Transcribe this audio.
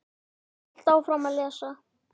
Ég hélt áfram að lesa.